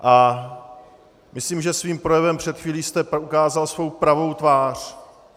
A myslím, že svým projevem před chvílí jste ukázal svou pravou tvář.